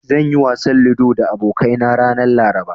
Zan yi wasan ludo da abokaina ranar Laraba.